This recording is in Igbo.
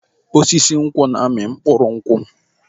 Osisi nkwụ na-amị mkpụrụ nkwụ.